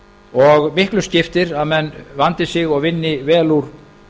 og miklu skiptir að menn vandi sig og vinni vel úr